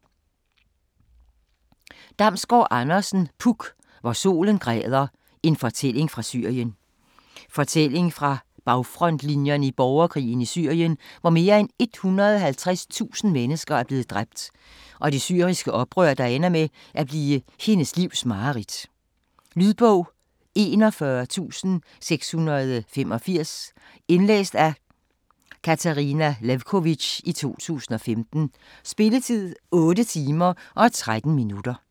Damsgård Andersen, Puk: Hvor solen græder: en fortælling fra Syrien Fortælling fra bagfrontlinjerne i borgerkrigen i Syrien, hvor mere end 150.000 mennesker er blevet dræbt, og millioner er sendt på flugt. Blandt andet følger bogen storbykvinden Nour, der i en frihedsrus engagerer sig i det syriske oprør, som ender med at blive hendes livs mareridt. Lydbog 41685 Indlæst af Katarina Lewkovitch, 2015. Spilletid: 8 timer, 13 minutter.